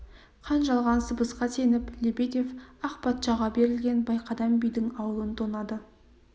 қан жалған сыбысқа сеніп лебедев ақ патшаға берілген байқадам бидің аулын тонады